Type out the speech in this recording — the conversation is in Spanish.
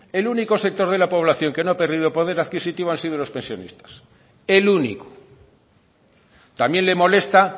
el único sector de la población que no ha perdido poder adquisitivo han sido los pensionistas el único también le molesta